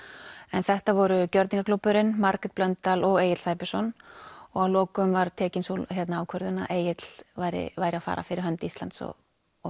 en þetta voru Margrét Blöndal og Egill Sæbjörnsson og að lokum var tekin sú ákvörðun að Egill væri væri að fara fyrir hönd Íslands og